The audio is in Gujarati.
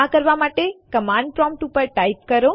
આ કરવા માટે કમાન્ડ પ્રોમ્પ્ટ ઉપર ટાઇપ કરો